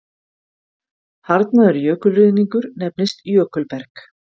Harðnaður jökulruðningur nefnist jökulberg.